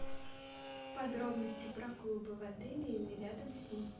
подробности про клубы в отеле или рядом с ним